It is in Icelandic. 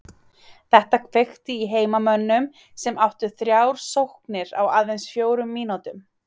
Þetta kveikti í heimamönnum sem áttu þrjár sóknir á aðeins fjórum mínútum.